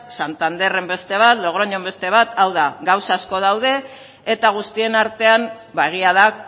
santanderren beste bat logroñon beste bat hau da gauza asko daude eta guztien artean ba egia da